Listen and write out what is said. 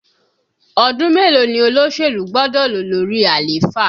Ọdún mélòó ni olóṣèlú gbọ́dọ̀ lò lórí àléfà?